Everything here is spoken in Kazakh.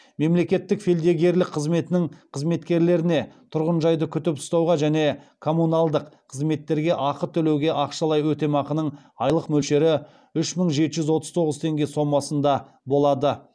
мемлекеттік фельдъегерлік қызметтің қызметкерлеріне тұрғынжайды күтіп ұстауға және коммуналдық қызметтерге ақы төлеуге ақшалай өтемақының айлық мөлшері үш мың жеті жүз отыз тоғыз теңге сомасында болады